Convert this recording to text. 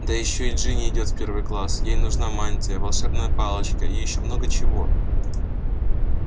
да ещё и джинни идёт в первый класс ей нужна мантия волшебная палочка и ещё много чего